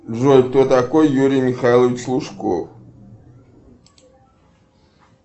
джой кто такой юрий михайлович лужков